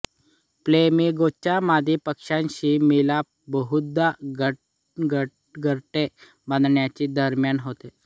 फ्लेमिगोचा मादी पक्ष्याशी मिलाप बहुधा घरटे बांधण्याच्या दरम्यान होतो